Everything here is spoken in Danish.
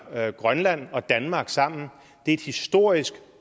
grønland og danmark sammen er et historisk